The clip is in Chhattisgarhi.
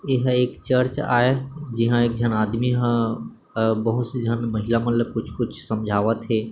एहा एक चर्च आये है जिहा एक झन आदमी ह बहुत से झन महिला मन ल कुछ-कुछ समझावत हे।